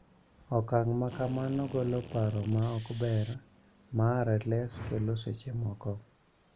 Okang� ma kamano golo paro ma ok ber ma RLS kelo seche moko.